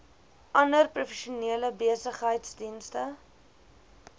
ander professionele besigheidsdienste